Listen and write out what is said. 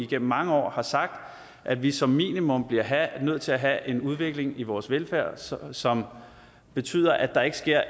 gennem mange år sagt at vi som minimum bliver nødt til at have en udvikling i vores velfærd som som betyder at der ikke sker